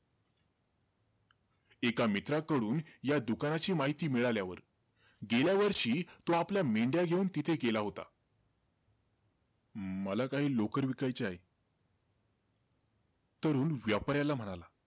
एका मित्राकडून या दुकानाची माहिती मिळाल्यावर, गेल्या वर्षी तो आपल्या मेंढ्या घेऊन तिथे गेला होता. मला काही लोकर विकायची आहे. तरुण व्यापाराला म्हणाला,